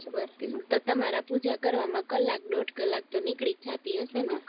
બરાબર તો તમારા પૂજા કરવામાં કલાક દોઢ કલાક તો નીક્લીજ જતી હશે ને